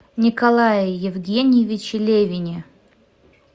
николае евгеньевиче левине